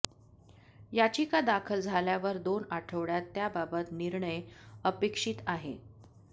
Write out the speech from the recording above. याचिका दाखल झाल्यावर दोन आठवड्यात त्याबाबत निर्णय अपेक्षित आहे